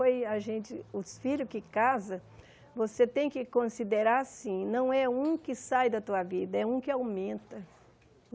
Foi a gente os filhos que casam, você tem que considerar assim, não é um que sai da tua vida, é um que aumenta.